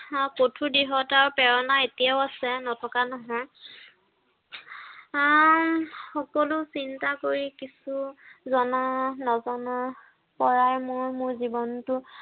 আহ কঠোৰ দৃঢ়তা প্ৰৰণা এতিয়াও আছে, নথকা নহয়। আহ সকলো চিন্তা কৰি কিছু, জনা নজনাৰ পৰাই মই মোৰ জীৱনটো